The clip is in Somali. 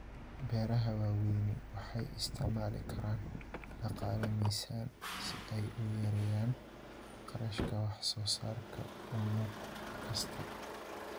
Beeraha waaweyni waxay isticmaali karaan dhaqaale miisaan si ay u yareeyaan kharashka wax soo saarka unug kasta.